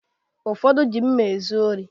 Ụfọdụ ji mma ezu ori